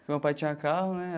Porque o meu pai tinha carro, né?